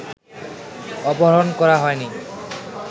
অপহরণ করা হয়নি